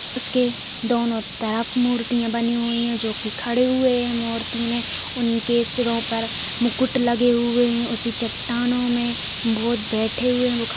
उसके दोनों तरफ मूर्तियां बनी हुई है। जो की खड़े हुए हैं मूर्ति में उनके सिरों पर मुकुट लगे हुए हैं इस चट्टानों में बहुत बैठे हुए हैं --